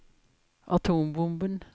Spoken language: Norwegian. atombomben